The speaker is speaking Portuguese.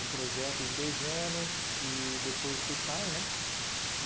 Um projeto de dois anos e depois vocês saem, né?